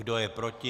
Kdo je proti?